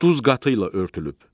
Duz qatıyla örtülüb.